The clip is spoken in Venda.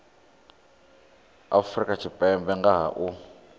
afrika tshipembe nga ha u